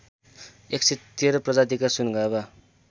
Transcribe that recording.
११३ प्रजातिका सुनगाभा